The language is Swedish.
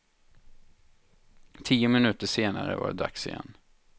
Tio minuter senare var det dags igen.